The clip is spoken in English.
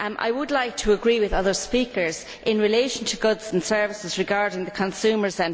I would like to agree with other speakers in relation to goods and services regarding consumers.